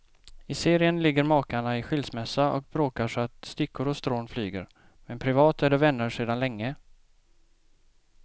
I serien ligger makarna i skilsmässa och bråkar så att stickor och strån flyger, men privat är de vänner sedan länge.